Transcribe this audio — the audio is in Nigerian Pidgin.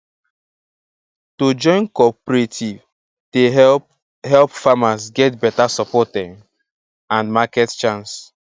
to join cooperative dey help help farmers get beta support um and market chance